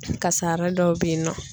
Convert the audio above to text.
Kasara dɔw bɛ ye nɔ